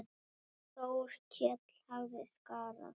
Þórkell hafði skaðað.